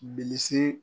Bilisi